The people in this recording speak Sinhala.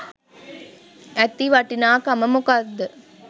ඇති වටිනාකම මොකක්ද?